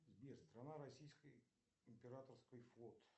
сбер страна российской императорский флот